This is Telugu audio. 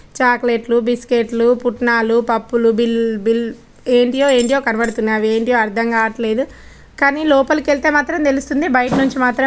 చాక్లెట్స్ బిస్కట్స్ పుట్నాలు పప్పులు బిల్ ఎంటియో ఎంటియో కనబదుథున్నై అవి ఎంటియో అర్ధం కావట్లేదు. కానీ లోపలికి వెళ్తే మాత్రం తెలుస్తుంది బయట నుంచి మాత్రం--